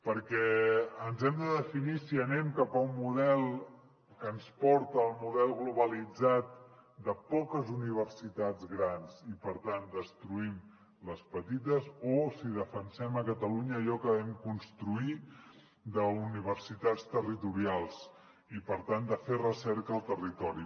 perquè ens hem de definir si anem cap a un model que ens porta al model globalitzat de poques universitats grans i per tant destruïm les petites o si defensem a catalunya allò que vam construir d’universitats territorials i per tant de fer recerca al territori